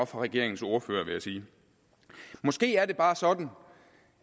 regeringens ordfører vil jeg sige måske er det bare sådan